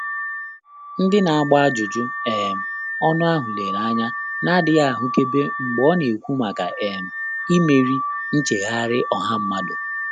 Ndị́ nà-àgbà ájụ́jụ́ um ọ́nụ́ áhụ́ léré ányá nà-ádị́ghị́ áhụ́kèbé mgbè ọ́ nà-ékwú màkà um ímérí nchéghárị́ ọ́há mmádụ́.